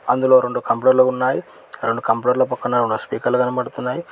అందులో రెండు కంప్యూటర్లు ఉన్నాయ్ రెండు కంప్యూటర్ల పక్కన రెండు స్పీకర్లు కనపడుతున్నాయి.